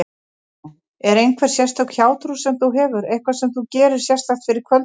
Fréttakona: Er einhver sérstök hjátrú sem þú hefur, eitthvað sem þú gerir sérstakt fyrir kvöldið?